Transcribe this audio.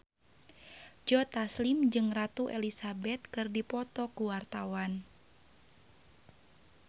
Joe Taslim jeung Ratu Elizabeth keur dipoto ku wartawan